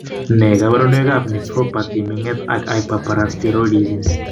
Nee kabarunoikab Nephropathy, ming'et ak hyperparathyroidism.